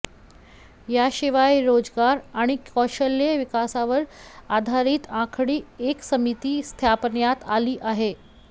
याशिवाय रोजगार आणि कौशल्य विकासावर आधारीत आणखी एक समिती स्थापन्यात आली आहे